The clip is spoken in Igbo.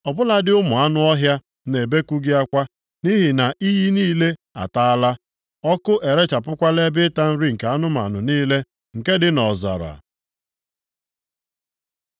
Ọ bụladị ụmụ anụ ọhịa na-ebeku gị akwa, nʼihi na iyi niile ataala, ọkụ erechapụkwala ebe ịta nri nke anụmanụ niile nke dị nʼọzara.